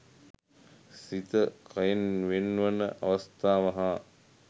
සිත කයෙන් වෙන්වන අවස්ථාව හා